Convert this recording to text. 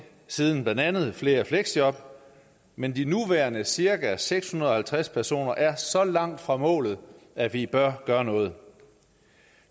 siden blandt andet at flere i fleksjob men de nuværende cirka seks hundrede og halvtreds personer er så langt fra målet at vi bør gøre noget